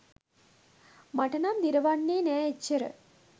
මට නම් දිරවන්නේ නෑ එච්චර.